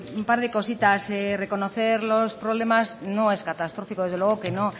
un par de cositas reconocer los problemas no es catastrófico desde luego que no